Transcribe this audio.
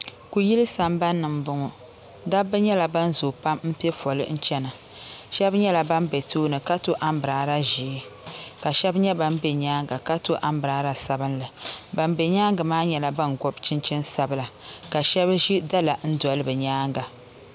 Kuyili sambani ni m bɔŋɔ dabba nyɛla ban zooi pam m pɛ fɔli chana shɛbi nyɛla ban be tooni ka tɔ ambiraala ʒɛɛ k